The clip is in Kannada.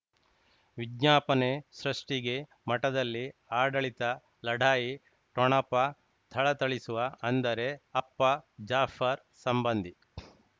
ವಿಜ್ಞಾಪನೆ ಸೃಷ್ಟಿಗೆ ಮಠದಲ್ಲಿ ಆಡಳಿತ ಲಢಾಯಿ ಠೊಣಪ ಥಳಥಳಿಸುವ ಅಂದರೆ ಅಪ್ಪ ಜಾಫರ್ ಸಂಬಂಧಿ